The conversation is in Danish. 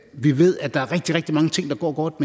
vi ved at der er rigtig rigtig mange ting der går godt